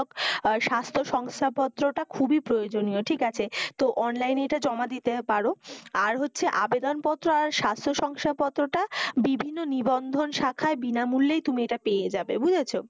আর স্বাস্থ্য শংসাপত্রটা খুবই প্রয়োজনীয়, ঠিক আছে? তো online এ এটা জমা দিতে পারো। আর হচ্ছে আবেদনপত্র আর স্বাস্থ্য শংসাপত্রটা বিভিন্ন নিবন্ধন শাখায় বিনামূল্যেই তুমি এটা পেয়ে যাবে বুঝেছ?